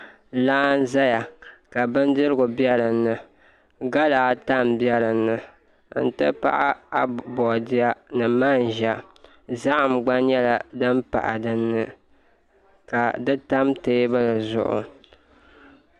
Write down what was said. Laa n ʒɛya ka bindirigu bɛ dinni gala ata n bɛ dinni n ti pahi boodiyɛ ni manʒa zaham gba nyɛla din pahi dinni ka di tam teebuli zuɣu